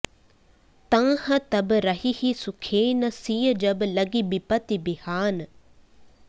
तँह तब रहिहि सुखेन सिय जब लगि बिपति बिहान